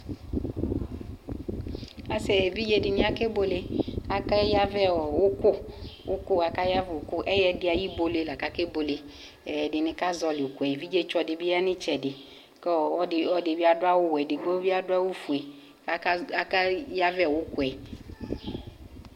Asɩ evidze dɩnɩ ake buele aja yavɛ ʊkʊ ɛyɛdɩ ayʊ ɨbuele la akebuele ɛdɩnɩ kazɔlɩ ʊkʊɛ evidze dɩbɩ yan ʊɩtsɛdɩ kʊ ɔlɔdɩbɩ adu awuwɛ kʊ ɛdɩbɩ adu ofue kʊaka yavɛ ʊkʊɛ